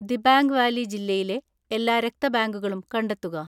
Dibang valley ജില്ലയിലെ എല്ലാ രക്ത ബാങ്കുകളും കണ്ടെത്തുക.